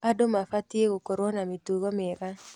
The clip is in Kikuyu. Andũ mabatiĩ gũkorwo na mĩtugo mĩega.